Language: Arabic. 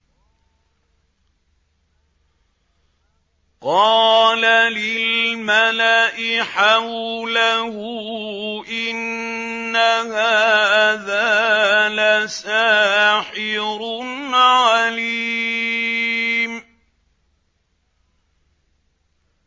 قَالَ لِلْمَلَإِ حَوْلَهُ إِنَّ هَٰذَا لَسَاحِرٌ عَلِيمٌ